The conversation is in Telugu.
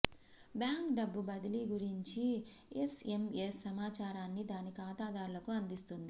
బ్యాంక్ డబ్బు బదిలీ గురించి ఎస్ఎమ్ఎస్ సమాచారాన్ని దాని ఖాతాదారులకు అందిస్తుంది